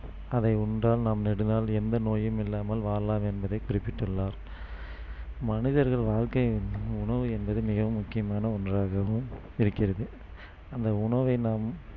அதை உண்டால் நம் நெடுநாள் எந்த நோயும் இல்லாமல் வாழலாம் என்பதை குறிப்பிட்டுள்ளார். மனிதர்கள் வாழ்க்கையில் உணவு என்பது மிகமுக்கியமான ஒன்றாகவும் இருக்கிறது அந்த உணவை நாம்